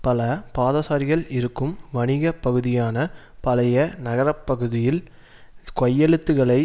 பல பாதசாரிகள் இருக்கும் வணிக பகுதியான பழைய நகரப்பகுதியில் கையெழுத்துக்களை